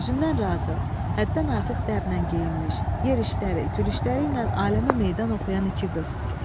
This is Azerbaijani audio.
Özündən razı, həddən artıq dəblə geyinmiş, yerişləri, gülüşləri ilə aləmə meydan oxuyan iki qız.